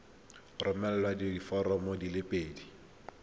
romela diforomo di le pedi